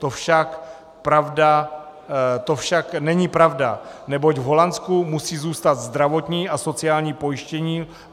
To však není pravda, neboť v Holandsku musí zůstat zdravotní a sociální pojištění.